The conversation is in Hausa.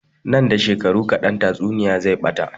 Nan da shekaru kaɗan tatsuniya zai ɓata